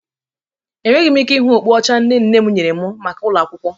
Enweghị m ike ịra okpu ọcha nne nne m nyere m maka ụlọ akwụkwọ.